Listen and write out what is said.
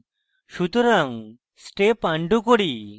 সুতরাং step undo করি